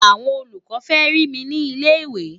àwọn olùkọ fẹ rí mí ní ilẹ ìwé